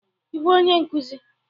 Ị bụ onye nkuzi?